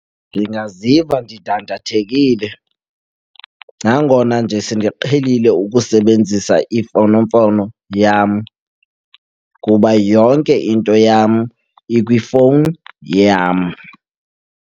Ndingaziva ndidandathekile nangona nje sendiqhelile ukusebenzisa imfonomfono yam, kuba yonke into yam ikwifowuni yam.